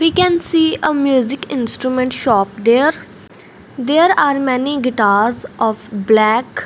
we can see a music instrument shop there there are many guitars of black --